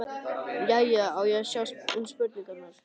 Jæja, á ég að sjá um spurningarnar?